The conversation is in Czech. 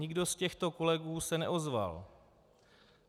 Nikdo z těchto kolegů se neozval.